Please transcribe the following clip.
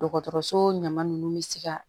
Dɔgɔtɔrɔso ɲama nunnu bɛ se ka